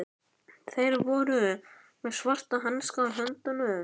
Þeir voru með svarta hanska á höndunum.